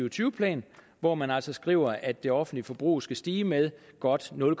og tyve plan hvor man altså skriver at det offentlige forbrug skal stige med godt nul